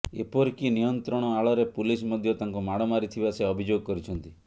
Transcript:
ଏପରିକି ନିୟନ୍ତ୍ରଣ ଆଳରେ ପୁଲିସ ମଧ୍ୟ ତାଙ୍କୁ ମାଡମାରିଥିବା ସେ ଅଭିଯୋଗ କରିଛନ୍ତି